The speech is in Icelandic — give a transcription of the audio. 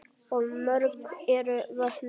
Og mörg eru vötnin.